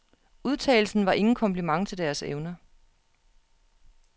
Udtalelsen var ingen kompliment til deres evner.